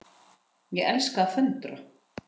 Ég elska að föndra.